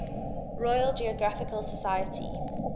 royal geographical society